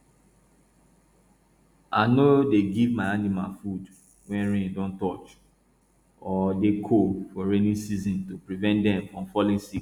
i no dey give my animal food wey rain don touch or dey cold for rainy season to prevent dem from falling sick